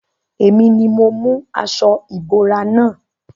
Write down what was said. Èmi ni mo mú aṣo ìbora na.